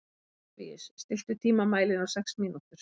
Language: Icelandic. Oktavíus, stilltu tímamælinn á sex mínútur.